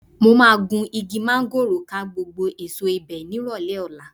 Mo máa gun igi máńgòrò ká gbogbo èso ibẹ̀ nírọ̀lẹ́ ọ̀la